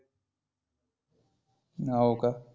हाव का?